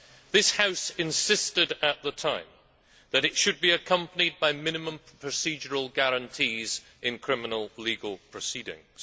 This House insisted at the time that it should be accompanied by minimum procedural guarantees in criminal legal proceedings.